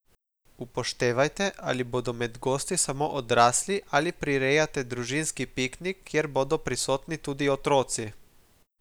Upoštevajte, ali bodo med gosti samo odrasli ali prirejate družinski piknik, kjer bodo prisotni tudi otroci.